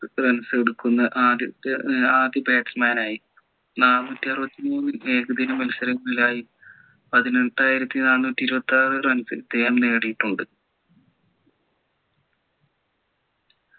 runs എടുക്കുന്ന ആദ്യത്തെ ഏർ ആദ്യ batsman ആയി നാന്നൂറ്റി അറുപത്തിമൂന്ന് ഏകദിന മത്സരങ്ങളിലായി പതിനെട്ടായിരത്തി നാന്നൂറ്റി ഇരുപത്തിയാറ് runs ഇദ്ദേഹം നേടീട്ടുണ്ട്